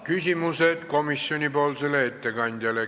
Küsimused komisjoni ettekandjale.